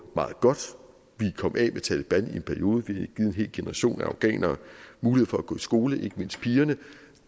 meget godt vi kom af med taleban i en periode vil give en hele generation af afghanere mulighed for at gå i skole ikke mindst pigerne